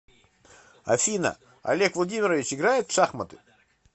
афина олег владимирович играет в шахматы